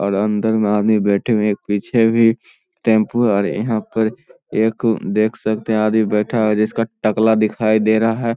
और अंदर मे आदमी बैठे हुए है एक पीछे भी टेंपू है और यहां पे एक देख सकते हैं आदमी बैठा है और जिसका टकला दिखाई दे रहा है।